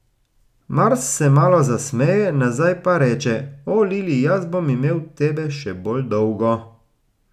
Mars se malo zasmeje nazaj pa reče, O, Lili, jaz bom imel tebe še bolj dolgo.